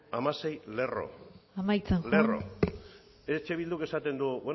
hamasei lerro amaitzen joan hamasei lerro eh bilduk esaten du